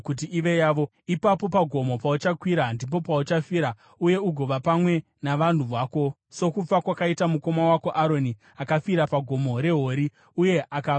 Ipapo pagomo pauchakwira ndipo pauchafira uye ugova pamwe navanhu vako, sokufa kwakaita mukoma wako Aroni akafira paGomo reHori uye akava navanhu vake.